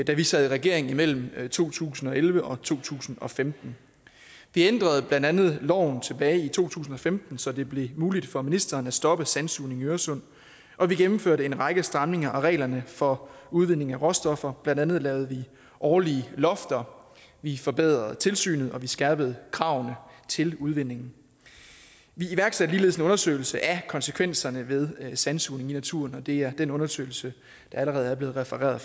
da vi sad i regering imellem to tusind og elleve og to tusind og femten vi ændrede blandt andet loven tilbage i to tusind og femten så det blev muligt for ministeren at stoppe sandsugning i øresund og vi gennemførte en række stramninger af reglerne for udledning af råstoffer blandt andet lavede vi årlige lofter vi forbedrede tilsynet og vi skærpede kravene til udvinding vi iværksatte ligeledes en undersøgelse af konsekvenserne ved sandsugning i naturen og det er den undersøgelse der allerede er blevet refereret